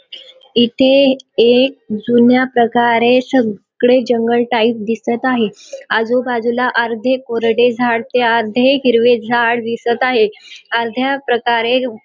इथे एक जुन्या प्रकारे सगळे जंगल टाईप दिसत आहे आजूबाजूला अर्धे कोरडे झाड ते अर्धे हिरवे झाड दिसत आहे अर्ध्या प्रकारे --